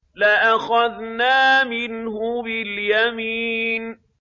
لَأَخَذْنَا مِنْهُ بِالْيَمِينِ